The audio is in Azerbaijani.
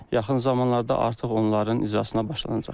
Yaxın zamanlarda artıq onların icrasına başlanacaqdır.